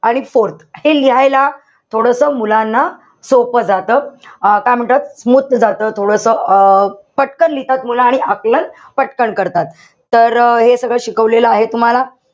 आणि fourth हे लिहायला थोडस मुलांना सोपं जात. अं काय म्हणतायत? smooth जात थोडस अं पटकन लिहितात मुलं आणि आकलन पटकन करतात. तर हे सगळं शिकवलेलं आहे तुम्हाला.